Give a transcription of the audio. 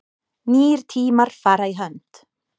Nýir tímar fara í hönd